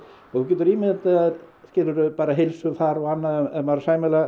og þú getur ímyndað þér bara heilsufar og annað ef maður er sæmilega